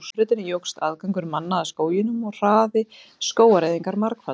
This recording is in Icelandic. Með hraðbrautinni jókst aðgangur manna að skóginum og hraði skógareyðingar margfaldaðist.